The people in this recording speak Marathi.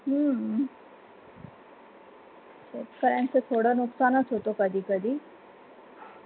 हम्म शेतकऱ्यांच थोडा नुकसानच होतो. कधी कधी.